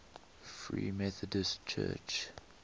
free methodist church